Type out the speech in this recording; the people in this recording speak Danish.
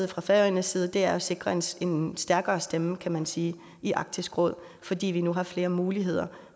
og fra færøerne side er at sikre os en stærkere stemme kan man sige i arktisk råd fordi vi nu har flere muligheder